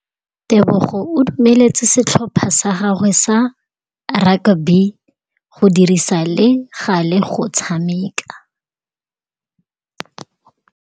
Tebogô o dumeletse setlhopha sa gagwe sa rakabi go dirisa le galê go tshameka.